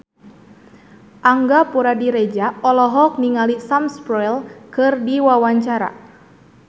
Angga Puradiredja olohok ningali Sam Spruell keur diwawancara